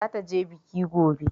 Zata je biki gobe